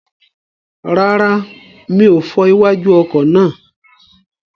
Rárá, mi ò fọ iwájú ọkọ̀ náà.